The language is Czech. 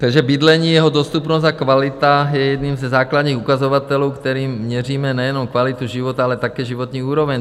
Takže bydlení, jeho dostupnost a kvalita je jedním ze základních ukazatelů, kterým měříme nejenom kvalitu života, ale také životní úroveň.